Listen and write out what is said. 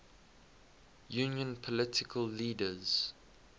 union political leaders